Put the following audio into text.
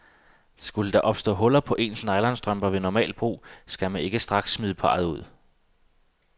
Skulle der opstå huller i ens nylonstrømper ved normalt brug, skal man ikke straks smide parret ud.